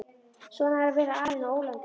Svona er að vera alinn á ólandi.